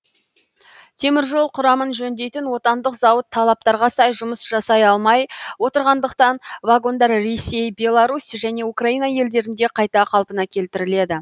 теміржол құрамын жөндейтін отандық зауыт талаптарға сай жұмыс жасай алмай отырғандықтан вагондар ресей беларусь және украина елдерінде қайта қалпына келтіріледі